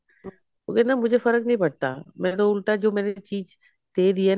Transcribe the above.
ਉਹ ਕਹਿੰਦਾ ਮੁਝੇ ਫਰਕ ਨਹੀਂ ਪੜਤਾ ਮੇਰਾ ਤੋ ਉਲਟਾ ਜੋ ਮੇਰੀ ਚੀਜ ਦੇ ਦੀ ਐ